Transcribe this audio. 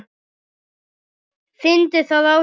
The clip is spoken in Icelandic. Fyndi það á sér.